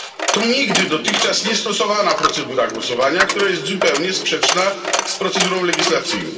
To nigdy dotychczas niestosowana procedura głosowania, która jest zupełnie sprzeczna z procedurą legislacyjną.